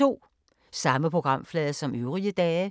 Samme programflade som øvrige dage